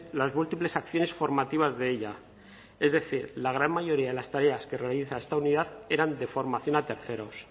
las múltiples acciones formativas de ella es decir la gran mayoría de las tareas que realiza esta unidad eran de formación a terceros